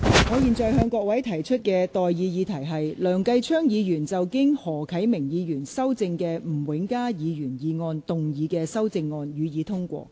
我現在向各位提出的待議議題是：梁繼昌議員就經何啟明議員修正的吳永嘉議員議案動議的修正案，予以通過。